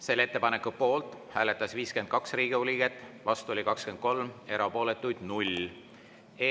Selle ettepaneku poolt hääletas 52 Riigikogu liiget, vastu 23, erapooletuid oli 0.